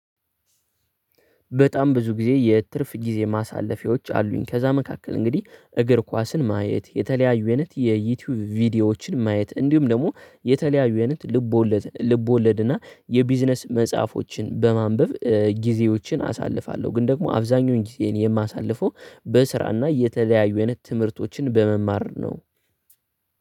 በጣም ብዙ ጊዜ የትርፍ ጊዜ ማሳለፊያዎች አሉኝ ከዛ መካከል እንግዲህ እግር ኳስን ማየት የተለያዩ አይነት የዩቲዩብ ቪዲዮዎችን ማየት እንዲሁም ደግሞ የተለያዩ አይነት ልቦለድ ልቦለድ እና የቢዝነስ መጽሐፎችን በማንበብ ጊዜዎችን አሳልፋለሁ። ግን ደግሞ አብዛኛውን ጊዜን የማሳልፈው በስራና እየተለያዩ አይነት ትምህርቶችን በመማር ነው።